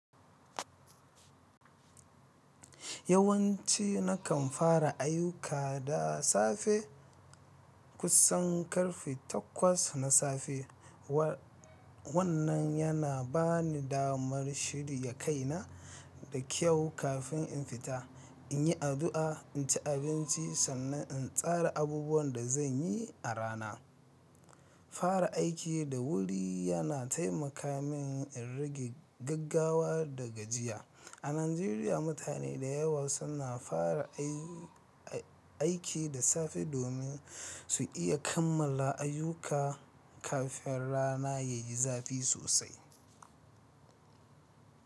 Yawanci nakan fara ayyuka da safe, kusan karfe takwas na safe. Wannan yana bani damar shirya kaina da kyau kafin in fita, in yi addu'a, in ci abinci sannan in tsara abubuwan da zan yi a rana. Fara aiki da wuri yana taimaka min in rage gaggawa da gajiya. A Najeriya, mutane da yawa suna fara aiki da safe domin su iya kammala ayyuka kafin rana ya yi zafi sosai.